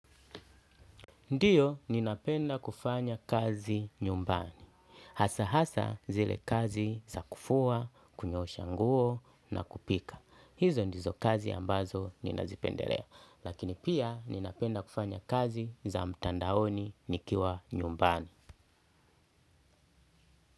Ndio ninapenda kufanya kazi nyumbani. Hasa hasa zile kazi za kufua, kunyoosha nguo na kupika. Hizo ndizo kazi ambazo ninazipendelea. Lakini pia ninapenda kufanya kazi za mtandaoni nikiwa nyumbani.